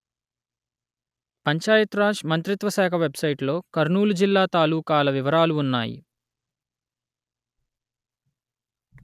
పంచాయత్ రాజ్ మంత్రిత్వ శాఖ వెబ్‌సైటులో కర్నూలు జిల్లా తాలూకాల వివరాలు ఉన్నాయి